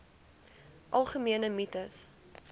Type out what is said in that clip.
algemene mites